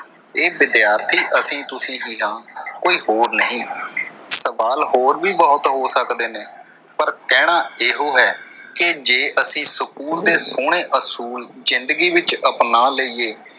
ਇਹ ਵਿਦਿਆਰਥੀ ਅਸੀਂ ਤੁਸੀਂ ਹੀ ਹਾਂ ਕੋਈ ਹੋਰ ਨਹੀਂ। ਸਵਾਲ ਹੋਰ ਵੀ ਬਹੁਤ ਹੋ ਸਕਦੇ ਨੇ ਪਰ ਕਹਿਣਾ ਏਹੋ ਹੈ ਕਿ ਜੇ ਅਸੀਂ ਸਕੂਲ ਦੇ ਸੋਹਣੇ ਅਸੂਲ ਜਿੰਦਗੀ ਵਿੱਚ ਅਪਣਾ ਲਈਏ,